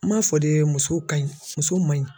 An m'a fɔ de muso ka ɲi muso man ɲi.